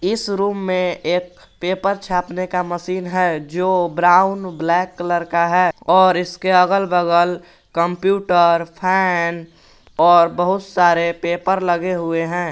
इस रूम में एक पेपर छापने का मशीन है जो ब्राउन ब्लैक कलर का है और इसके अगल बगल कंप्यूटर फैन और बहुत सारे पेपर लगे हुए हैं।